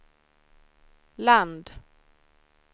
land